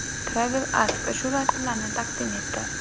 Travel Ask shu rasmlarni taqdim etdi.